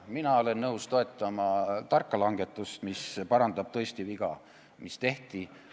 Mina olen nõus toetama tarka langetust, mis parandab tõesti viga, mis tehti.